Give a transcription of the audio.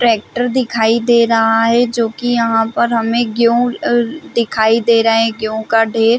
tractor दिखाई दे रहा है जो की यहाँ पर हमें गेहूँ दिखाई दे रहे है गेहूँ का ढ़ेर--